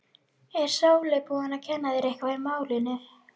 Er Sóley búin að kenna þér eitthvað í málinu?